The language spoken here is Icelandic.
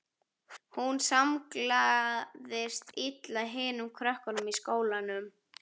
Hún samlagaðist illa hinum krökkunum í skólanum.